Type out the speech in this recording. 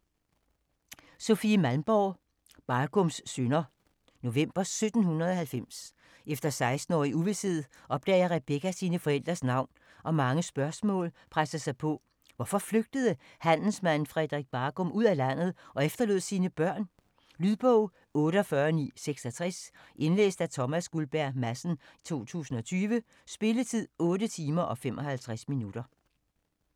Malmborg, Sofie: Bargums synder November 1790. Efter 16 år i uvished, opdager Rebecca sine forældres navn og mange spørgsmål presser sig på. Hvorfor flygtede handelsmanden Frederik Bargum ud af landet og efterlod sine børn? Lydbog 48966 Indlæst af Thomas Guldberg Madsen, 2020. Spilletid: 8 timer, 55 minutter.